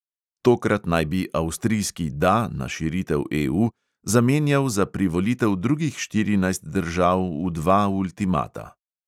Tokrat naj bi avstrijski "da" na širitev EU zamenjal za privolitev drugih štirinajst držav v dva ultimata.